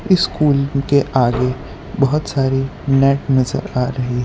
इस स्कूल के आगे बहुत सारे नेट नजर आ रही है।